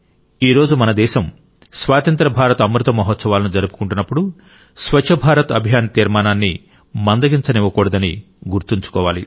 ఈ రోజు మన దేశం స్వాతంత్ర్య భారత అమృతమహోత్సవాలను జరుపుకుంటున్నప్పుడు స్వచ్ఛ భారత్ అభియాన్ తీర్మానాన్ని మందగించనివ్వకూడదని గుర్తుంచుకోవాలి